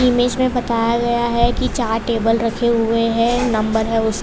बीच मे बताया गया है की चार टेबल रखे हुए है नंबर है उसका --